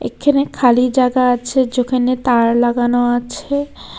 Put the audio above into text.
এখানে খালি জায়গা আছে যেখানে তার লাগানো আছে।